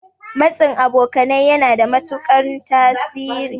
Matsin abokanai yana da matuƙan tasiri.